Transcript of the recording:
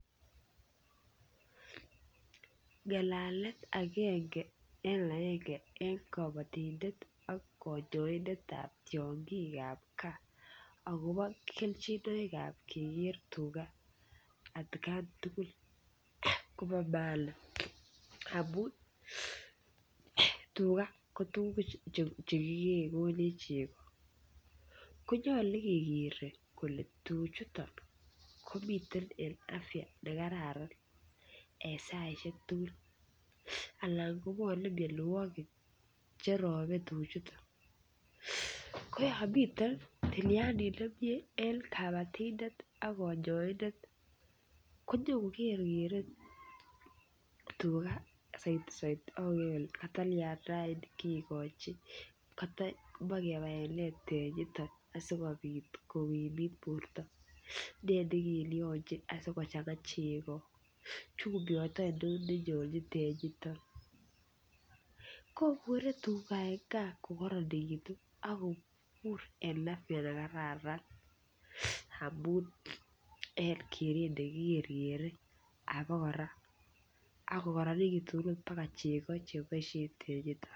Ngalalet agenge en agenge eng kobotindet ak koyoindet ab tiong'ik ab gaa agobo kelchinoik ab keger tuga atkan tugul kobo maana amun tuga kotuguk che kikee konech chego. Konyolu kegere kole tuchuto komiten en afya ne kararan en saishek tugul. Anan kobwone mianwogik che tuchuto koyon miten tilyandit nemie en kobotindet ak konyoindet konyokokerkere tuga kigochi kata moe kebaen nee tenyito asikobit kogimit borto. Nee ne kilyonjin sikochang'a chego. Chumbiot oinon nenyolji tenyito. Kobure tuga en gaa kokaronegitu ak koobur en afya ne kararan amun en keret ne ki kerkere abakora ak ko koronegitu baga ot chego che boisien tenyito.